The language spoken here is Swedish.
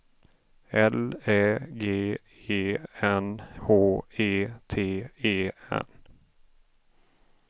L Ä G E N H E T E N